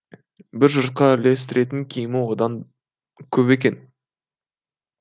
бір жұртқа үлестіретін киімі одан көп екен